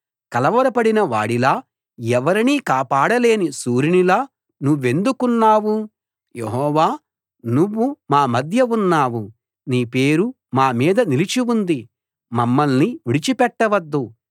కలవరపడిన వాడిలా ఎవరినీ కాపాడలేని శూరునిలా నువ్వెందుకున్నావు యెహోవా నువ్వు మా మధ్య ఉన్నావు నీ పేరు మా మీద నిలిచి ఉంది మమ్మల్ని విడిచి పెట్టవద్దు